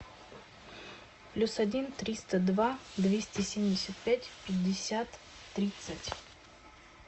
плюс один триста два двести семьдесят пять пятьдесят тридцать